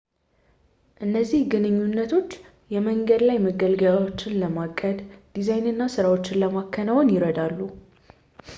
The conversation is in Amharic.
እነዚህ ግንኙነቶች የመንገድ ላይ መገልገያዎችን ለማቀድ ፣ ዲዛይን እና ሥራዎችን ለማከናወን ይረዳሉ